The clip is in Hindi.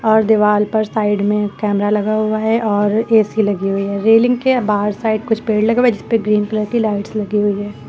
और दीवाल पर साइड में कैमरा लगा हुआ है और ए_सी लगी हुई है रेलिंग के बाहर साइड कुछ पेड़ लगे हुए जिस पे ग्रीन कलर की लाइट्स लगी हुई है।